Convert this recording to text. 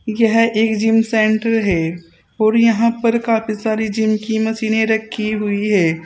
यह एक gym centre है और यहां पर काफी सारी जिम की मशीने रखी हुई है।